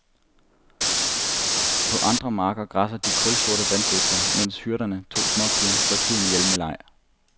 På andre marker græsser de kulsorte vandbøfler, mens hyrderne, to småpiger, slår tiden ihjel med leg.